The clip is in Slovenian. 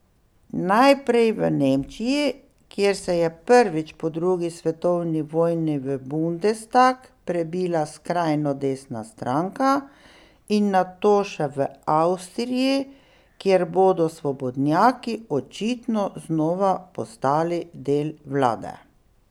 Najprej v Nemčiji, kjer se je prvič po drugi svetovni vojni v bundestag prebila skrajno desna stranka, in nato še v Avstriji, kjer bodo svobodnjaki očitno znova postali del vlade.